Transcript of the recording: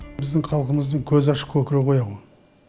біздің халқымыздың көзі ашық көкірегі ояу